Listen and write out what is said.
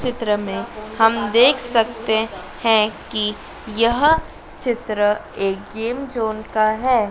चित्र में हम देख सकते हैं कि यह चित्र एक गेम जोन का है।